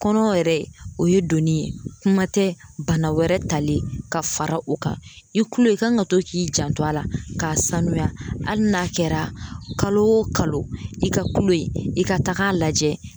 Kɔnɔ yɛrɛ o ye donni ye kuma tɛ bana wɛrɛ talen ka fara o kan i kulo i kan ka to k'i janto a la k'a sanuya ali n'a kɛra kalo o kalo i ka kulo i ka taga lajɛ